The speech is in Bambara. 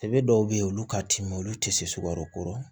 E bɛ dɔw bɛ yen olu ka timin olu tɛ se sukaro kɔrɔ